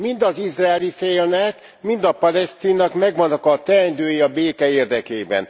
Mind az izraeli félnek, mind a palesztinnak megvannak a teendői a béke érdekében.